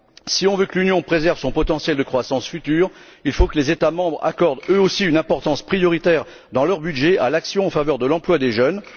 Si l'on veut que l'Union préserve son potentiel de croissance futur, il faut que les États membres accordent, eux aussi, une importance prioritaire, dans leurs budgets, à l'action en faveur de l'emploi des jeunes.